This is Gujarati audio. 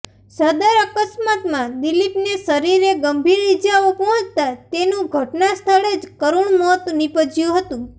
સદર અકસ્માતમાં દીલીપને શરીરે ગંભીર ઇજાઓ પહોંચતા તેનું ઘટના સ્થળે જ કરૃણ મોત નિપજયું હતું